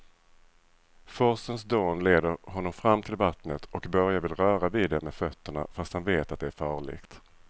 Forsens dån leder honom fram till vattnet och Börje vill röra vid det med fötterna, fast han vet att det är farligt.